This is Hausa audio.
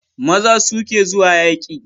Maza su ke zuwa yaƙi